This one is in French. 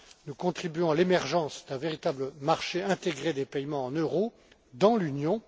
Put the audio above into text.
Nous contribuons à l'émergence d'un véritable marché intégré des paiements en euros dans l'Union.